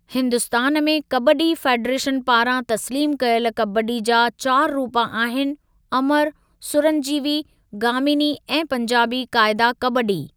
हिन्दुस्तान में कबड्डी फ़ेडरेशन पारां तस्लीमु कयल कबड्डी जा चारि रूपु आहिनि अमरु, सुरंजीवी, गामीनी ऐं पंजाबी क़ाइदा कबड्डी।